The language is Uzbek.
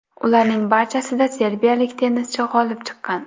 Ularning barchasida serbiyalik tennischi g‘olib chiqqan.